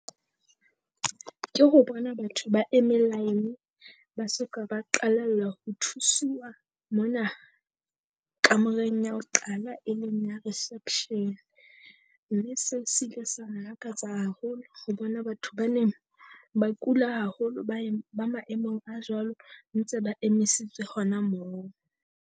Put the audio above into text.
Ke ho bona batho ba eme line ba so ka ba qalella ho thusiwa mona kamoreng ya ho qala, e leng ya reception. Mme seo sile sa mmakatsa haholo ho bona batho ba neng ba kula haholo, ba e ba maemong a jwalo ntse ba emisitswe hona moo.